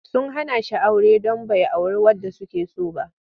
Sun hana shi aure don bai auri wadda suke so ba.